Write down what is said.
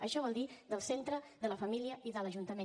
això vol dir del centre de la família i de l’ajuntament